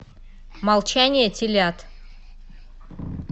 молчание телят